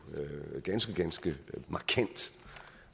ganske ganske markant